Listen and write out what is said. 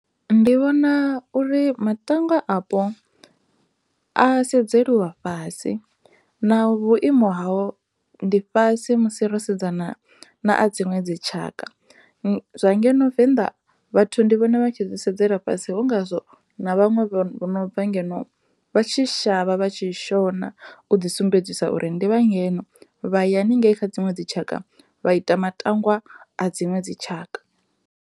Ndi vhona uri matangwa apo a sedzeliwa fhasi na vhuimo hao ndi fhasi musi ro sedza na a dziṅwe dzitshaka zwa ngeno venḓa vhathu ndi vhona vha tshi zwi sedzela fhasi hu ngazwo na vhaṅwe vho no bva ngeno vha tshi shavha vha tshi shona u ḓi sumbedzisa uri ndi vha ngeno vha ya haningei kha dziṅwe dzitshaka vha ita matangwa a dziṅwe dzitshaka.